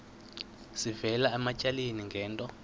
sivela ematyaleni ngento